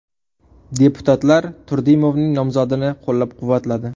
Deputatlar Turdimovning nomzodini qo‘llab-quvvatladi.